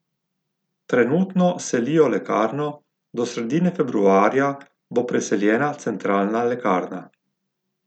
Trenutno selijo lekarno, do sredine februarja bo preseljena centralna lekarna.